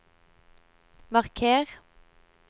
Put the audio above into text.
marker